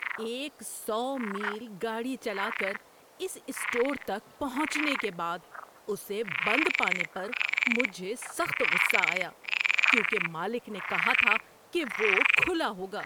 ایک سو میل گاڑی چلا کر اس اسٹور تک پہنچنے کے بعد اسے بند پانے پر مجھے سخت غصہ آیا کیونکہ مالک نے کہا تھا کہ وہ کھلا ہوگا۔